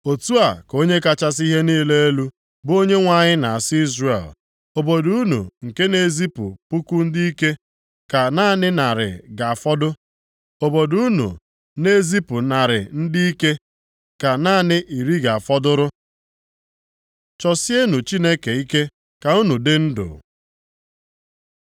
Otu a ka Onye kachasị ihe niile elu, bụ Onyenwe anyị na-asị Izrel, “Obodo unu nke na-ezipụ puku ndị ike, ka naanị narị ga-afọdụ, obodo unu na-ezipụ narị ndị ike ka naanị iri ga-afọdụrụ.” Chọsienụ Chineke ike ka unu dị ndụ